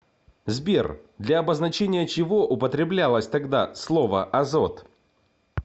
сбер для обозначения чего употреблялось тогда слово азот